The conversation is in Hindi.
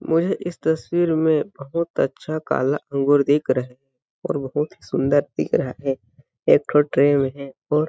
मुझे इस तस्वीर में बहुत अच्छा काला अंगूर दिख रहा है और बहुत ही सुंदर दिख रहा है एक ठो ट्रे में है और --